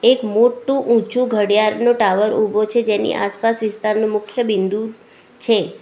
એક મોટ્ટુ ઊંચું ઘડિયાળનું ટાવર ઉભો છે જેની આસપાસ વિસ્તારનું મુખ્ય બિંદુ છે.